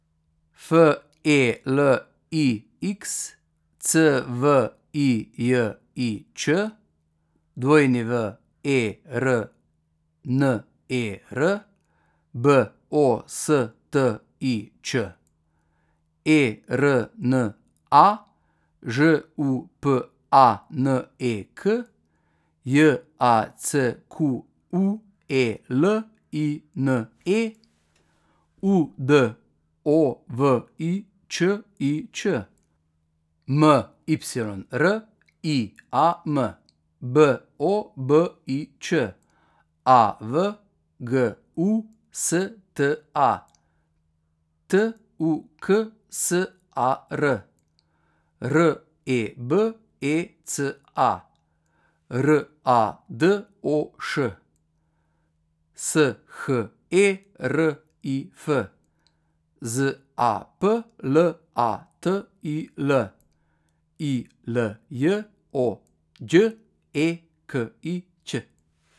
F E L I X, C V I J I Č; W E R N E R, B O S T I Č; E R N A, Ž U P A N E K; J A C Q U E L I N E, U D O V I Č I Č; M Y R I A M, B O B I Č; A V G U S T A, T U K S A R; R E B E C A, R A D O Š; S H E R I F, Z A P L A T I L; I L J O, Đ E K I Ć.